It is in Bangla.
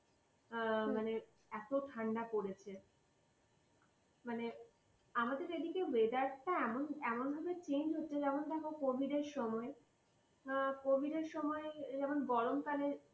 এ মানে এত ঠান্ডা পড়েছে । মানে আমাদের এদিকে এর weather টা এমন, এমন ভাবে change হচ্ছে যেমন দেখো covid এর সময়, এ covid এর সময় গরম কালে।